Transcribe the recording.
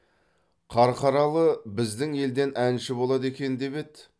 қарқаралы біздің елден әнші болады екен деп еді